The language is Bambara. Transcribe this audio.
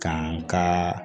Kan ka